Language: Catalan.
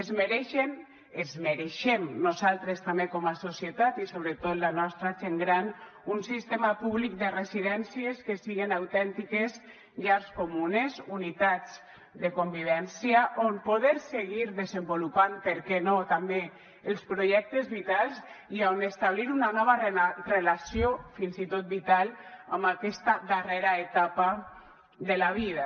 es mereixen ens mereixem nosaltres també com a societat i sobretot la nostra gent gran un sistema públic de residències que siguin autèntiques llars comunes unitats de convivència on poder seguir desenvolupant per què no també els projectes vitals i on establir una nova relació fins i tot vital en aquesta darrera etapa de la vida